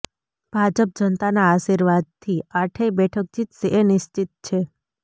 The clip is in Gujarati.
ભાજપ જનતાના આશીર્વાદથી આઠેય બેઠક જીતશે એ નિશ્ચિત છે